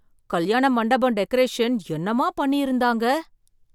கல்யாண மண்டபம் டெக்கரேஷன் என்னமா பண்ணி இருந்தாங்க!